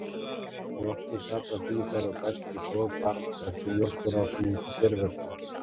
Mjólkin safnast í þær og berst við sog barns eftir mjólkurrásum út í geirvörtu.